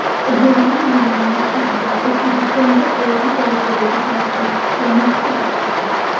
Joriy yilning kuzida O‘zbekistonga oliy darajadagi tashrif kutilmoqda.